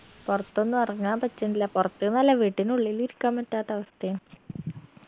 പൊർത്തൊന്നു എറങ്ങാൻ പറ്റണില്ല പൊറത്ത്ന്നല്ല വീട്ടിനുള്ളിൽ ഇരിക്കാൻ പറ്റാത്ത അവസ്ഥയാ